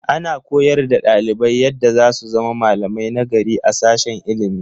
Ana koyar da ɗalibai yadda za su zama malamai nagari a sashen ilimi.